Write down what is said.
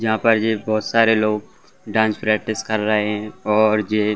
यहाॅं पर ये बहोत सारे लोग डान्स प्रैक्टिस कर रहे है और जे --